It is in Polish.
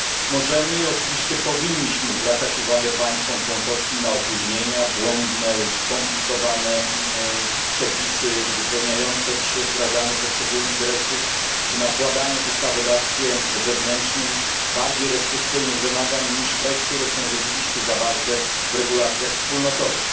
Możemy i oczywiście powinniśmy zwracać uwagę państwom członkowskim na opóźnienia, błędne lub skomplikowane przepisy uzupełniające przy wdrażaniu poszczególnych dyrektyw czy nakładanie w ustawodawstwie wewnętrznym bardziej restrykcyjnych wymagań niż te, które są rzeczywiście zawarte w regulacjach wspólnotowych.